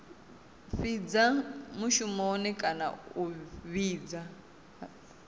fhidza mushumoni kana a fhidza